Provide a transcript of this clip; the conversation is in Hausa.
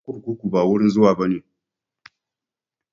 Kurkuku ba wurin zuwa bane